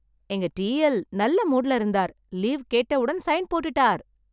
எங்க டிஎல் நல்ல மூட்ல இருந்தார், லீவ் கேட்டவுடன் சைன் போட்டுட்டார்.